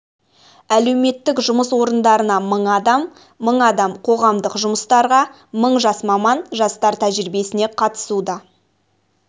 әлеуметтік жұмыс орындарына мың адам мың адам қоғамдық жұмыстарға мың жас маман жастар тәжірибесіне қатысуда